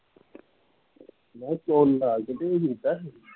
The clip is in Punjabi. ਮੈਂ ਕਿਹਾ ਨਿਕਾਲ ਕੇ ਤੇ ਕੀਤਾ ਸੀ